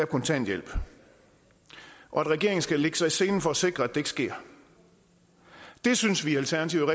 kontanthjælp og at regeringen skal lægge sig i selen for at sikre at det ikke sker det synes vi i alternativet